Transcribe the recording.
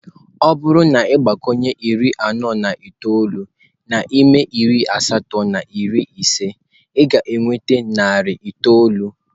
Ọ bụrụ na ị gbakwunye iri anọ na itoolu n'ime narị asatọ na iri ise, ị ga-enweta narị itoolu.